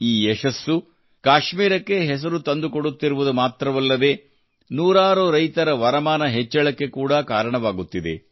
ಈ ಯಶಸ್ಸು ಕಾಶ್ಮೀರಕ್ಕೆ ಹೆಸರು ತಂದುಕೊಡುತ್ತಿರುವುದು ಮಾತ್ರವಲ್ಲದೇ ನೂರಾರು ರೈತರ ವರಮಾನ ಹೆಚ್ಚಳಕ್ಕೆ ಕೂಡಾ ಕಾರಣವಾಗುತ್ತಿದೆ